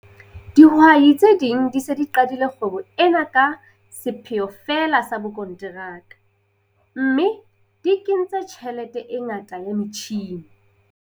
Dihwai tse ding di se di qadile kgwebo ena ka sepheo feela sa bokonteraka, mme di kentse tjhelete e ngata ya metjhine.